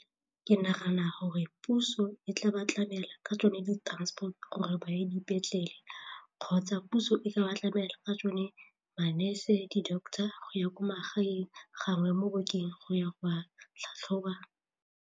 Ke nagana gore puso e tla ba tlamela ka tsone di-transport gore ba ye dipetlele kgotsa puso e ka ba tlamela ka tsone ma-nurse, di-doctor go ya ko magaeng gangwe mo bookeng goya go a tlhatlhoba.